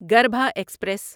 گربھا express